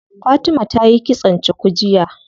Fatima tayi kitson cuku jiya.